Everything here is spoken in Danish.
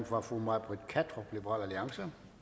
fra fru may britt kattrup liberal alliance